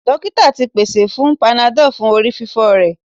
Dokita ti paṣẹ fun panadol fun orififo rẹ